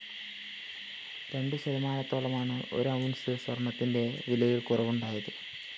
രണ്ടു ശതമാനത്തോളമാണ് ഒരു ഔണ്‍സ് സ്വര്‍ണത്തിന്റെ വിലയില്‍ കുറവുണ്ടായത്